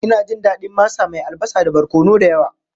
Ina jin daɗin masa mai albasa da barkono da yawa.